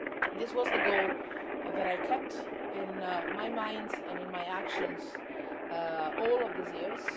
This was the goal that I kept in my mind and in my actions all of these years.